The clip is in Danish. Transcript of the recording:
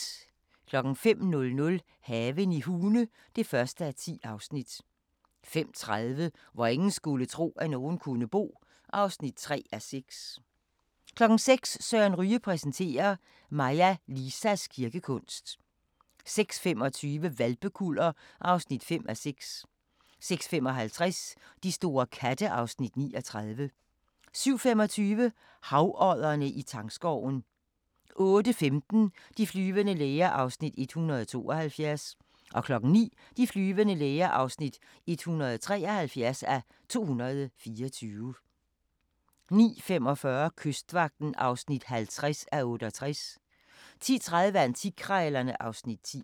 05:00: Haven i Hune (1:10) 05:30: Hvor ingen skulle tro, at nogen kunne bo (3:6) 06:00: Søren Ryge præsenterer: Maja Lisas kirkekunst 06:25: Hvalpekuller (5:6) 06:55: De store katte (Afs. 39) 07:25: Havoddere i tangskoven 08:15: De flyvende læger (172:224) 09:00: De flyvende læger (173:224) 09:45: Kystvagten (50:68) 10:30: Antikkrejlerne (Afs. 10)